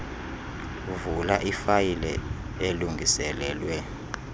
vula ifayile elungiselelwe